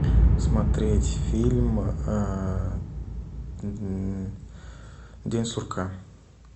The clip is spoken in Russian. смотреть фильм день сурка